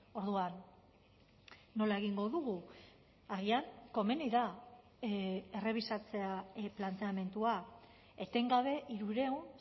orduan nola egingo dugu agian komeni da errebisatzea planteamendua etengabe hirurehun